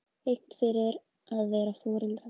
Hegnt fyrir að vara foreldra við